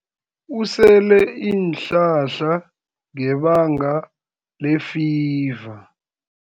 Usele iinhlahla ngebanga lefiva.